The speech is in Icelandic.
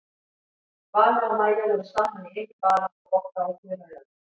Vala og Maja voru saman í einum bala og Bogga og Þura í öðrum.